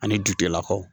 Ani jutigɛlakaw